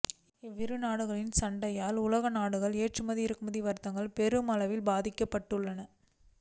இவ்விரு நாடுகளின் சண்டையால் உலக நாடுகளின் ஏற்றுமதி இறக்குமதி வர்த்தகம் பெருமளவில் பாதிக்கப்பட்டுள்ளன